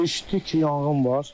eşitdik yanğın var.